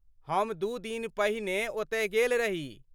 हम दू दिन पहिने ओतय गेल रही।